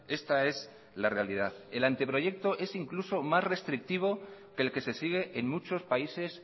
esta es la realidad el anteproyecto es incluso más restrictivo que el que se sigue en muchos países